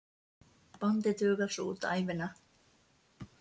Bandið dugar svo út ævina.